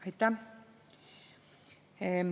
Aitäh!